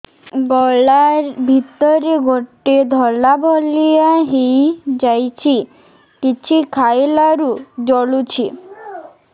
ଗଳା ଭିତରେ ଗୋଟେ ଧଳା ଭଳିଆ ହେଇ ଯାଇଛି କିଛି ଖାଇଲାରୁ ଜଳୁଛି